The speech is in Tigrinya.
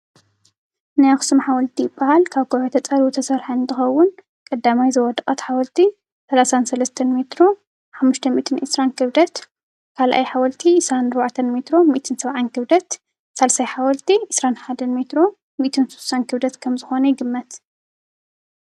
ናይ ኣኽሱም ሓወልቲ ይብሃል። ካብ ከዉሒ ተፀሪቡ ዝተሰርሐ እንትኸዉን ቀዳማይ ዝወደቐት ሓወልቲ 33 ሜትሮ፣520 ክብደት ካልኣይ ሓወልቲ 24 ሜትሮ 170 ክብደት ሳልሳይ ሓወልቲ 21 ሜትሮ 160 ክብደት ከም ዝኾነ ይግመት።